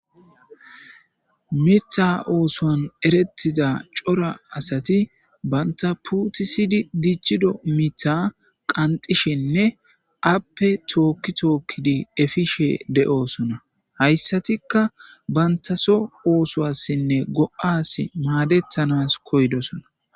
Miththa Ooson Erethiza Cora Asati Banta Puutisidi Dichido Miththa Qanxxishenne AppeTook Tookidi Efishe De'osona Haysatika Bantaso Oosuwasinne Go'asi Madetanas Koydosona